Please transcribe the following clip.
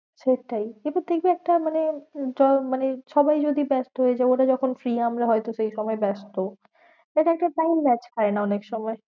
সেটাই যেহেতু তুই কি একটা মানে মানে সবাই যদি ব্যস্ত হয়ে যায় ওরা যখন free আমরা হয়তো সেই সময় ব্যস্ত। time match খায়না অনেক সময়।